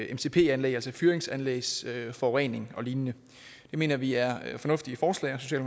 mcp anlæg altså i fyringsanlægs forurening og lignende det mener vi er fornuftige forslag